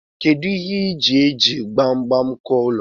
Kedu ihe ije iji gbagbam kuụọ ụlọ gi?